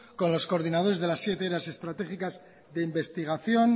con los coordinadores de las siete áreas estratégicas que investigación